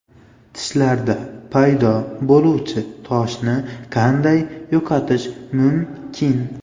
Tishlarda paydo bo‘luvchi toshni qanday yo‘qotish mumkin?.